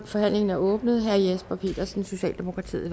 forhandlingen er åbnet herre jesper petersen socialdemokratiet